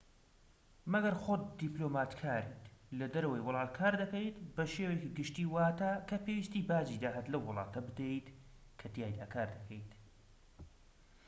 مەگەر خۆت دیبلۆماتکاریت لە دەرەوەی وڵات کار دەکەیت بە شێوەیەکی گشتی واتە کە پێویستە باجی داهات لەو وڵاتە بدەیت کەتیایدا کار دەکەیت